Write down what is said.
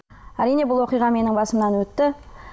әрине бұл оқиға менің басымнан өтті